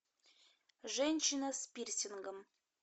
женщина с пирсингом